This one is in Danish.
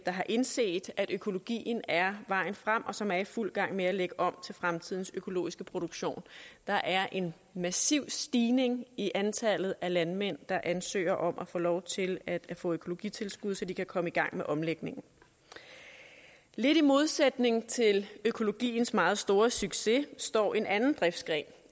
har indset at økologien er vejen frem og som er i fuld gang med at lægge om til fremtidens økologiske produktion der er en massiv stigning i antallet af landmænd der ansøger om at få lov til at få økologitilskud så de kan komme i gang med omlægningen lidt i modsætning til økologiens meget store succes står en anden driftsgren